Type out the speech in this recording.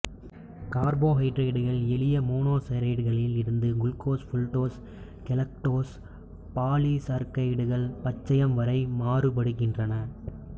கார்போஹைட்ரேட்டுகள் எளிய மோனோசாக்கரைடுகளில் இருந்து குளுக்கோஸ் ஃப்ருட்டோஸ் கெலக்டோஸ் பாலிசாக்கரைடுகள் பச்சையம் வரை மாறுபடுகின்றன